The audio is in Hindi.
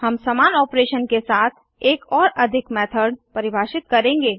हम समान ऑपरेशन के साथ एक और अधिक मेथड परिभाषित करेंगे